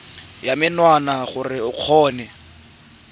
ya menwana gore o kgone